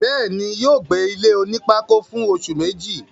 bẹ́ẹ̀ni, yóò gbé ilé onípákó fún oṣù Méjì